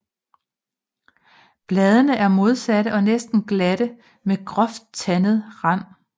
Bladene er modsatte og næsten glatte med groft tandet rand